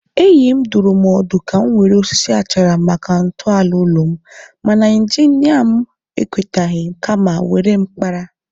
Enyi m dụrụ m ọdụ ka m were osisi achara maka ntọala ụlọ m, mana injinia m ekwetaghị kama were mkpara.